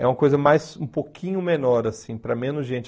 É uma coisa mais um pouquinho menor, assim para menos gente.